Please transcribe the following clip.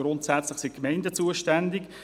Grundsätzlich sind die Gemeinden zuständig.